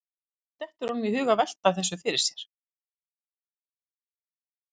Hvernig dettur honum í hug að vera að velta þessu fyrir sér?